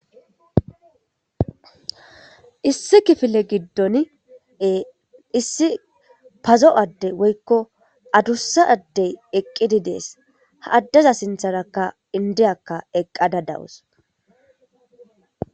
issi kifile giddone issi pazo7adde woykko adussa addey eqqidi dees ha addeza sintharakka indiyakka eqqada dawus